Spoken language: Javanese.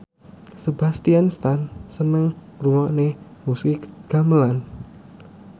Sebastian Stan seneng ngrungokne musik gamelan